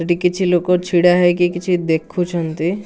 ଏଠି କିଛି ଲୋକ ଛିଡ଼ା ହେଇକି କିଛି ଦେଖୁଛନ୍ତି।